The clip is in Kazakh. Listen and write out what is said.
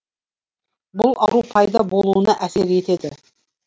бұл ауру пайда болуына әсер етеді